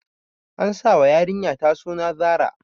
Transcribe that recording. An sa wa yarinyata suna Zara